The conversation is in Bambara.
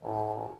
O